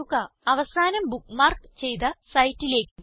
അവസാനം ബുക്ക്മാർക്ക് ചെയ്ത സൈറ്റിലേക്ക് പോകുക